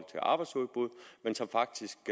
til arbejdsudbuddet men som faktisk